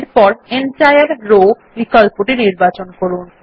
এরপর সম্পূর্ণ সারি বিকল্পটি নির্বাচন করুন